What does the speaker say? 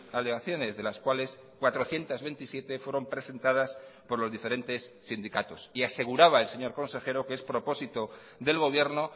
alegaciones de las cuales cuatrocientos veintisiete fueron presentadas por los diferentes sindicatos y aseguraba el señor consejero que es propósito del gobierno